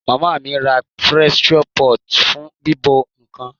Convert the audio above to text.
Ìyá mí ra pressure pot fún bíbọ̀ nkan